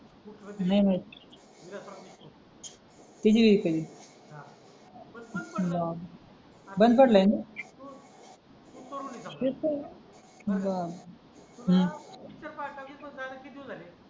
नाही माहित किती आहे पेमेंट बंद पडलय ना